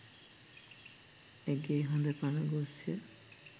ඇගේ හොඳ පණ ගොස්ය.